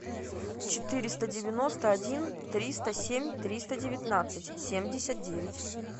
четыреста девяносто один триста семь триста девятнадцать семьдесят девять